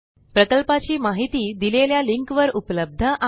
प्रकल्पाची माहिती दिलेल्या लिंकवर उपलब्ध आहे